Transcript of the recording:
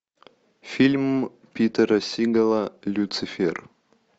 фильм питера сигала люцифер